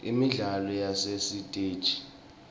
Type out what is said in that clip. imidlalo yasesitegi